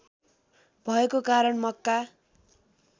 भएको कारण मक्का